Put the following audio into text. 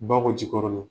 Bakɔ jikɔrɔni